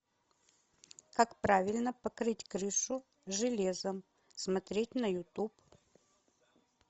как правильно покрыть крышу железом смотреть на ютуб